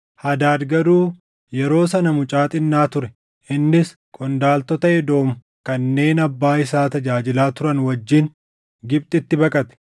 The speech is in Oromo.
Hadaad garuu yeroo sana mucaa xinnaa ture; innis qondaaltota Edoom kanneen abbaa isaa tajaajilaa turan wajjin Gibxitti baqate.